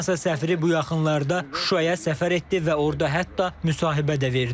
Fransa səfiri bu yaxınlarda Şuşaya səfər etdi və orda hətta müsahibə də verdi.